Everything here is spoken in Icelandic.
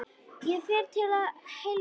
Ég fer til að heilsa.